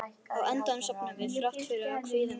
Á endanum sofnuðum við, þrátt fyrir kvíðann og kuldann.